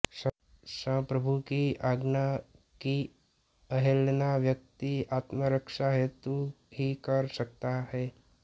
संप्रभु की आज्ञा की अवहेलना व्यक्ति आत्मरक्षा हेतु ही कर सकता है